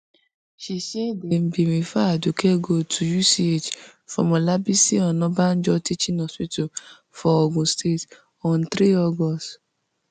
she say dem bin refer aduke gold tu UCH from olabisi onabanjo teaching hospital for ogun state on three august